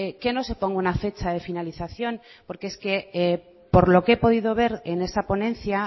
que no se ponga una fecha de finalización porque es que por lo que he podido ver en esa ponencia